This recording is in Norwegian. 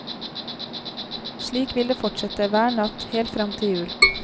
Slik vil det fortsette, hver natt, helt frem til jul.